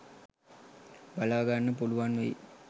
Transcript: බලාගන්න පුළුවන් වෙයි